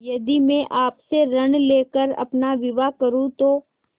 यदि मैं आपसे ऋण ले कर अपना विवाह करुँ तो